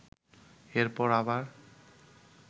এরপর আবার